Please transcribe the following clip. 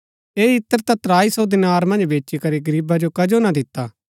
ऐह इत्र ता त्राई सो दीनार मन्ज बेचीकरी गरीबा जो कजो ना दिता